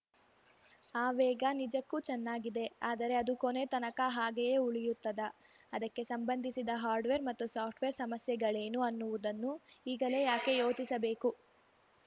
ಆ ವೇಗ ನಿಜಕ್ಕೂ ಚೆನ್ನಾಗಿದೆ ಆದರೆ ಅದು ಕೊನೆ ತನಕ ಹಾಗೆಯೇ ಉಳಿಯುತ್ತದಾ ಅದಕ್ಕೆ ಸಂಬಂಧಿಸಿದ ಹಾರ್ಡ್‌ವೇರ್‌ ಮತ್ತು ಸಾಫ್ಟ್‌ವೇರ್‌ ಸಮಸ್ಯೆಗಳೇನು ಅನ್ನುವುದನ್ನು ಈಗಲೇ ಯಾಕೆ ಯೋಚಿಸಬೇಕು